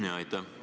Aitäh!